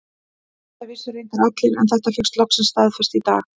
Þetta vissu reyndar allir en þetta fékkst loksins staðfest í dag.